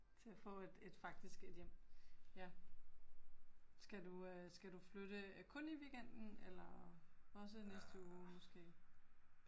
Til at få et et faktisk et hjem, ja. Skal du øh skal du flytte kun i weekenden eller også næste uge måske?